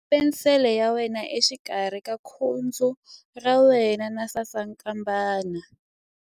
Khoma penisele ya wena exikarhi ka khudzu ra wena na sasankambana.ingana na ya mina.